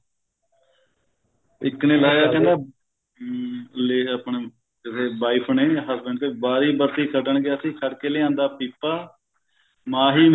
ਇੱਕ ਨੇ ਲਾਇਆ ਕਹਿੰਦਾ ਹਮ ਲੈ ਆਪਣਾ ਕਿਸੇ wife ਨੇ husband ਤੇ ਵਾਰੀ ਬਰਸੀ ਖੱਟਣ ਗਿਆ ਸੀ ਖੱਟ ਕੇ ਲਿਆਂਦਾ ਪੀਪਾ ਮਾਹੀ